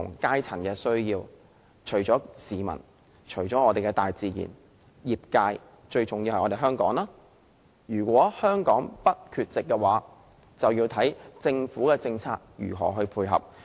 最重要的是，香港如果想在全球氣候變化議題上不缺席，就要視乎政府的政策如何配合。